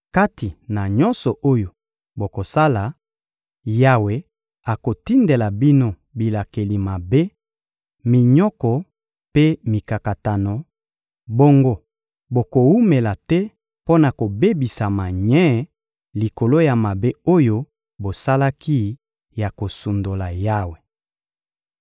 Kati na nyonso oyo bokosala, Yawe akotindela bino bilakeli mabe, minyoko mpe mikakatano; bongo bokowumela te mpo na kobebisama nye likolo ya mabe oyo bosalaki ya kosundola Yawe.